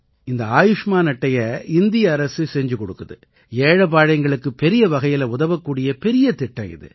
இந்த ஆயுஷ்மான் அட்டையை இந்திய அரசு செஞ்சு கொடுக்குது ஏழைபாழைகளுக்கு பெரிய வகையில உதவக்கூடிய பெரிய திட்டம் இது